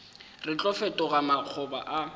re tlo fetoga makgoba a